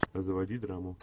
заводи драму